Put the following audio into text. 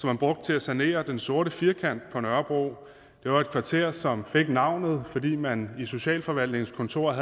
man brugte til at sanere den sorte firkant på nørrebro det var et kvarter som fik det navn fordi man i socialforvaltningens kontor